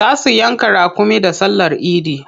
Za su yanka raƙumi da sallar idi.